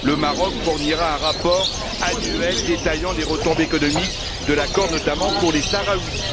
Le Maroc fournira un rapport annuel détaillant les retombées économiques de l'accord, notamment pour les Sahraouis.